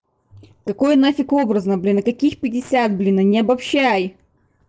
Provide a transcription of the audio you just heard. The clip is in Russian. какое нафиг образно блин и каких пятьдесят блин не обобщай